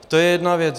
To je jedna věc.